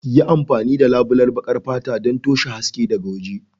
Yi amfani da labulen baƙar fata don toshe haske daga waje.